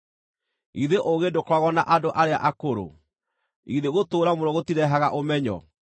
Githĩ ũũgĩ ndũkoragwo na andũ arĩa akũrũ? Githĩ gũtũũra mũno gũtirehaga ũmenyo?